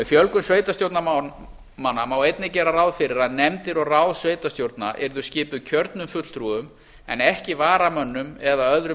fjölgun sveitarstjórnarmanna má einnig gera ráð fyrir að nefndir og ráð sveitarstjórna yrðu skipuð kjörnum fulltrúum en ekki varamönnum eða öðrum